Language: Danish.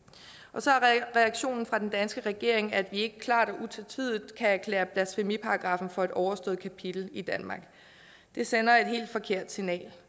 og så er reaktionen fra den danske regering at vi ikke klart og utvetydigt kan erklære blasfemiparagraffen for et overstået kapitel i danmark det sender et helt forkert signal